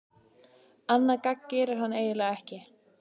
Annað gagn gerir hann eiginlega ekki.